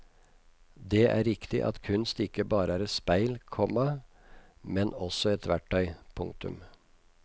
Det er riktig at kunst ikke bare et et speil, komma men også et verktøy. punktum